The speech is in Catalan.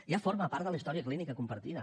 ja forma part de la història clínica compartida